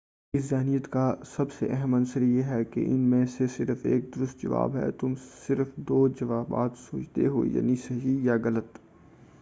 اس ذہنیت کا سب سے اہم عنصر یہ ہے کہ ان میں سے صرف ایک درست جواب ہے تم صرف دو جوابات سوچتے ہو یعنی صحیح یا غلط